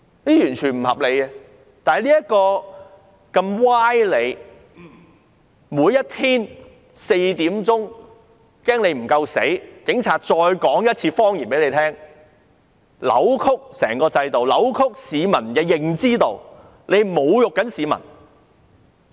現在，警察還怕大家聽不到這些歪理，每天下午4時也要再說一次謊言，扭曲整個制度、扭曲市民的認知，這是在侮辱市民。